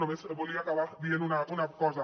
només volia acabar dient una cosa